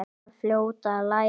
Var fljót að læra.